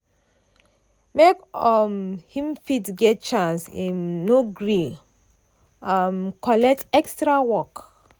make um him fit get chance im no gree um collect extra work.